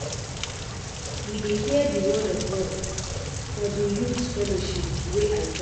We dey hear di word of God for di youth fellowship wey I join.